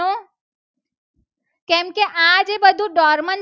હતું. diapose